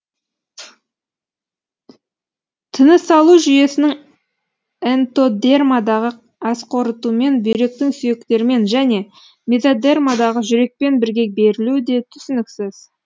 тынысалу жүйесінің энтодермадағы асқорытумен бүйректің сүйектермен және мезодермадағы жүрекпен бірге берілуі де түсініксіз